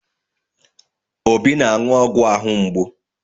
Obi na-aṅụ ọgwụ ahụ mgbu.